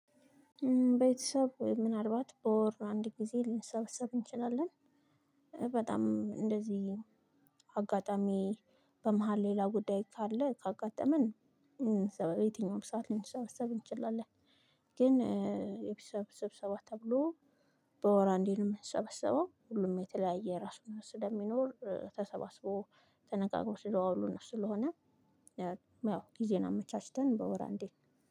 ቤተሰብ ምናልባት በወር አንድ ጊዜ ልንሰበሰብ እንችላለን። በጣም እንደዚህ አጋጣሚ በመሃል ሌላ ጉዳይ ካለ ካጋጠመን። የትኛውም ሰዓት ልንሰበሰብ እንችላለን። ግን የቤተሰብ ስብሰባ ተብሎ በወር አንዴ ነው የምንሰበሰበው ሁሉም የተለያየ የራሱ ስለሚኖር ተሰባስቦ ተነጋግሮ ስለዋሉ ነው። ስለሆነ ያው ጊዜን አመቻችተን በወር አንዴ